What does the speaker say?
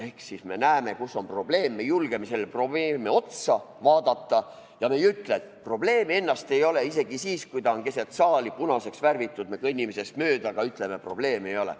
Ehk me siis näeme, kus on probleem, me julgeme sellele probleemile peale vaadata, ja me ei ütle, et probleemi ennast ei ole, et isegi siis, kui ta on keset saali ja punaseks värvitud, me kõnnime sellest mööda ja ütleme, et probleemi ei ole.